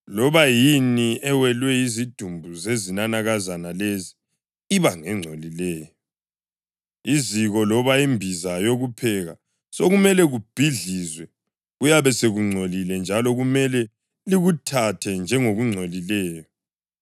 Loba yini ewelwe yizidumbu zezinanakazana lezi iba ngengcolileyo; iziko loba imbiza yokupheka sekumele kubhidlizwe. Kuyabe sekungcolile, njalo kumele likuthathe njengokungcolileyo.